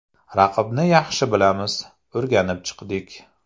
Raqibni yaxshi bilamiz, o‘rganib chiqdik.